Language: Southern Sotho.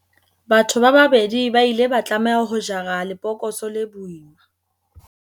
Batho ba babedi ba ile ba tlameha ho jara lebokose le boima.